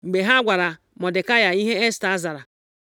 Mgbe ha gwara Mọdekai ihe Esta zara,